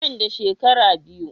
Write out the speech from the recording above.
Nan da shekara biyu.